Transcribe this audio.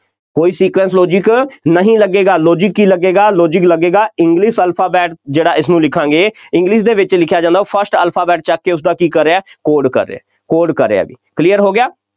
ਕੋਈ sequence, logic ਨਹੀਂ ਲੱਗੇਗਾ logic ਕੀ ਲੱਗੇਗਾ, logic ਲੱਗੇਗਾ english alphabet ਜਿਹੜਾ ਇਸਨੂੰ ਲਿਖਾਂਗੇ english ਦੇ ਵਿੱਚ ਲਿਖਿਆ ਜਾਂਦਾ ਉਹ first alphabet ਚੁੱਕ ਕੇ ਉਸਦਾ ਕੀ ਕਰ ਰਿਹਾ code ਕਰ ਰਿਹਾ code ਕਰ ਰਿਹਾ ਬਈ clear ਹੋ ਗਿਆ।